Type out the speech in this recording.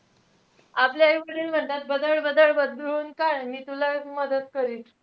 आपले आई-वडील म्हणतात बदड-बदड बदडून काढ तुलाच मदत करिन.